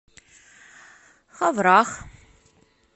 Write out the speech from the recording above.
ховрах